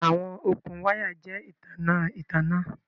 Awọn okun waya jẹ itanna itanna